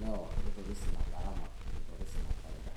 newor nitoris ina gharama nitoris inafaida